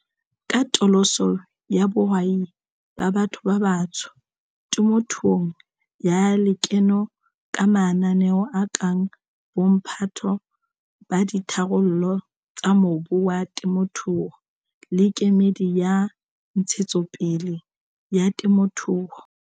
katoloso ya bohwai ba batho ba batsho temothuong ya lekeno ka mananeo a kang Bomphato ba Ditharollo tsa Mobu wa Temothuo le Kemedi ya Ntshetsopele ya Temothuo.